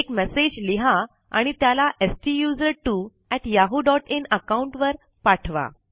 एक मैसेज लिहा आणि त्याला STUSERTWO yahooइन अकाउंट वर पाठवा